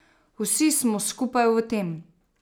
Vsi smo skupaj v tem.